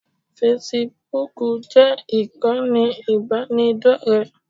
Fesibúùkù jẹ́ ìkànnì ìbánidọ́rẹ̀ẹ́.